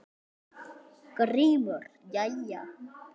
GRÍMUR: Jæja!